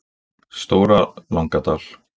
Stóra Langadal